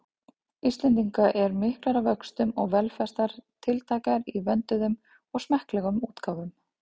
Íslendinga eru miklar að vöxtum og velflestar tiltækar í vönduðum og smekklegum útgáfum.